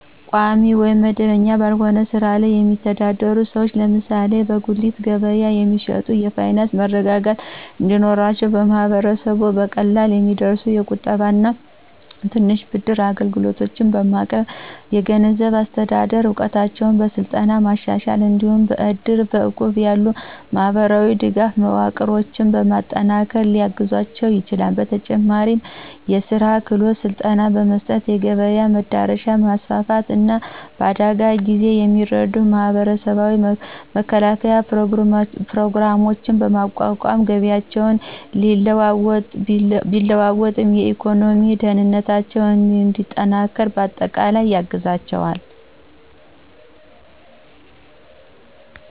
ቋሚ ወይም መደበኛ ባልሆነ ሥራ ላይ የሚተዳደሩ ሰዎች (ለምሳሌ በጉሊት ገበያ የሚሸጡ) የፋይናንስ መረጋጋት እንዲኖራቸው ማህበረሰቡ በቀላሉ የሚደርሱ የቁጠባና የትንሽ ብድር አገልግሎቶችን በማቅረብ፣ የገንዘብ አስተዳደር እውቀታቸውን በስልጠና በማሻሻል፣ እንዲሁም በእድርና በእቁብ ያሉ የማህበራዊ ድጋፍ መዋቅሮችን በማጠናከር ሊያግዛቸው ይችላል፤ በተጨማሪም የሥራ ክህሎት ስልጠና በመስጠት፣ የገበያ መዳረሻን በማስፋፋት፣ እና በአደጋ ጊዜ የሚረዱ የማህበራዊ መከላከያ ፕሮግራሞችን በማቋቋም ገቢያቸው ቢለዋወጥም የኢኮኖሚ ደህንነታቸው እንዲጠናከር በአጠቃላይ ያግዛቸዋል።